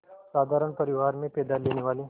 साधारण परिवार में पैदा लेने वाले